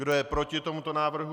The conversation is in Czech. Kdo je proti tomuto návrhu?